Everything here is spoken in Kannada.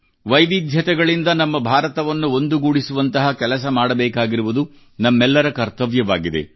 ವೈವಿಧ್ಯತೆಗಳಿಂದ ನಮ್ಮ ಭಾರತವನ್ನು ಒಂದುಗೂಡಿಸುವಂತಹ ಕೆಲಸ ಮಾಡಬೇಕಾಗಿರುವುದು ನಮ್ಮೆಲ್ಲರ ಕರ್ತವ್ಯವಾಗಿದೆ